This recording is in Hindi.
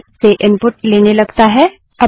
इसके बजाय स्टैन्डर्डइन से इनपुट लेने लगता है